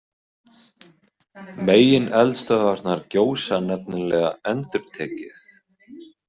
Megineldstöðvarnar gjósa nefnilega endurtekið.